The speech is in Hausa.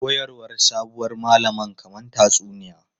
Koyarwar sabuwar malaman kamar tatsuniya.